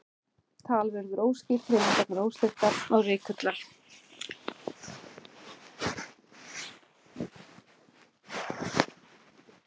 Tal verður óskýrt, hreyfingar óstyrkar og reikular.